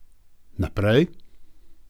Naprej.